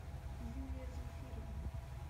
юлия зульфировна